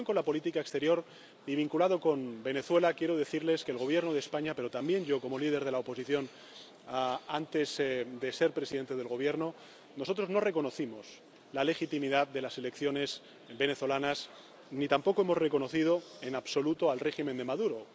En relación con la política exterior y vinculado con Venezuela, quiero decirles que el Gobierno de España, pero también yo, como líder de la oposición antes de ser presidente del Gobierno, no reconocimos la legitimidad de las elecciones venezolanas ni tampoco hemos reconocido en absoluto el régimen de Maduro.